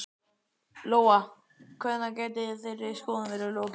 Lóa: Hvenær gæti þeirri skoðun verið lokið?